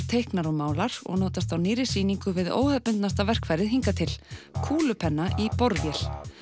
teiknar og málar og notast á nýrri sýningu við verkfærið hingað til kúlupenna í borvél